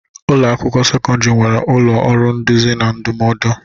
Ụlọ akwụkwọ sekọndrị nwere ụlọ ọrụ nduzi na ndụmọdụ.